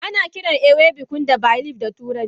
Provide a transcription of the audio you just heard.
Anakiran ewe bunkum da Bay leaf a turance.